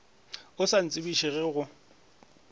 o sa ntsebiše ge go